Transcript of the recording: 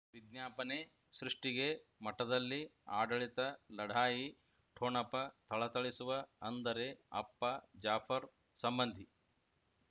ವಿಜ್ಞಾಪನೆ ಸೃಷ್ಟಿಗೆ ಮಠದಲ್ಲಿ ಆಡಳಿತ ಲಢಾಯಿ ಠೊಣಪ ಥಳಥಳಿಸುವ ಅಂದರೆ ಅಪ್ಪ ಜಾಫರ್ ಸಂಬಂಧಿ